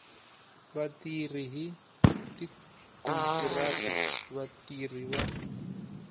vatirhi hi tikontiraka vatirhi va